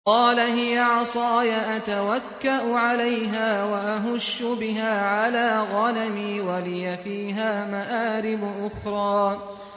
قَالَ هِيَ عَصَايَ أَتَوَكَّأُ عَلَيْهَا وَأَهُشُّ بِهَا عَلَىٰ غَنَمِي وَلِيَ فِيهَا مَآرِبُ أُخْرَىٰ